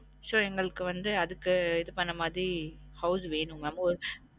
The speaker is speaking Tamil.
So எங்களுக்கு வந்து அதுக்கு இது பண்ண மாரி house வேணும் mam அமோ